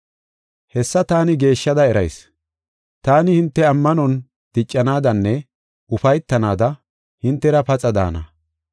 Hessa taani geeshshada erayis; taani, hinte ammanon diccanaadanne ufaytanaada hintera paxa daana.